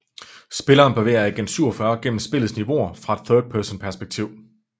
Spilleren bevæger Agent 47 gennem spillets niveauer fra et thirdperson perspektiv